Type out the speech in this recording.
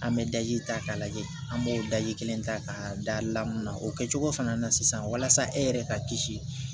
An bɛ daji ta k'a lajɛ an b'o daji kelen ta k'a da lamini na o kɛ cogo fana na sisan walasa e yɛrɛ ka kisi